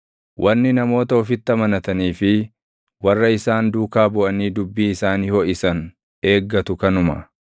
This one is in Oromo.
Wanni namoota ofitti amanatanii fi warra isaan duukaa buʼanii dubbii isaanii hoʼisan eeggatu kanuma.